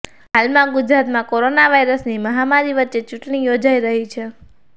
હાલમાં ગુજરાતમાં કોરોના વાઇરસની મહામારી વચ્ચે ચૂંટણી યોજાઈ રહી છે